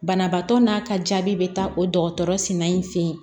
Banabaatɔ n'a ka jaabi be taa o dɔgɔtɔrɔsina in fɛ yen